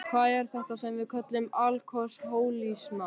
Hvað er þetta sem við köllum alkohólisma?